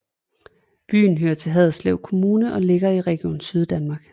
Byen hører til Haderslev Kommune og ligger i Region Syddanmark